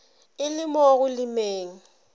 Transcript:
e le mo go lemeng